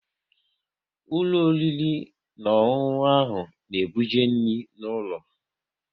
Ụlọ oriri na ọṅụṅụ ahụ na-ebuje nri n'ụlọ